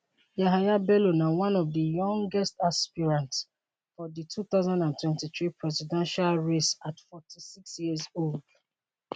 yahaya bello na one of di youngest aspirant for di 2023 presidential race at 46 years old